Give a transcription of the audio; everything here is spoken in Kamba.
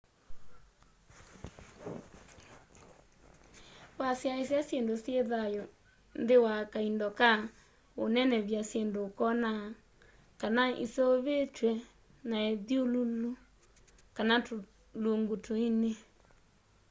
wasyaisya syindu syi thayu nthi wa kaindo ka unenevy'a syindu ukoona kana iseuvitw'e na ithyululu kana tulungu tuini